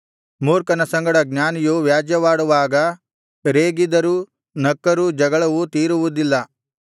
ಮೂರ್ಖನ ಸಂಗಡ ಜ್ಞಾನಿಯು ವ್ಯಾಜ್ಯವಾಡುವಾಗ ರೇಗಿದರೂ ನಕ್ಕರೂ ಜಗಳವು ತೀರುವುದಿಲ್ಲ